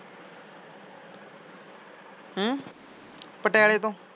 ਪਟਿਆਲੇ ਤੋਂ?